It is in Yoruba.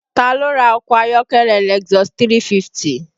Taa ló ra ọkọ ayọ́kẹ́lẹ́ Lexus 350?